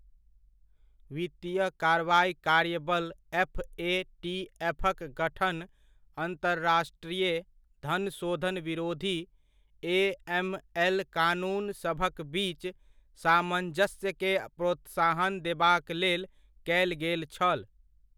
वित्तीय कार्रवाइ कार्य बल एफ.ए.टी.एफ'क गठन अन्तरराष्ट्रीय धन शोधन विरोधी, ए.एम.एल. कानूनसभक बीच सामञ्जस्यकेँ प्रोत्साहन देबाक लेल कयल गेल छल।